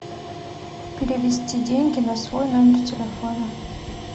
перевести деньги на свой номер телефона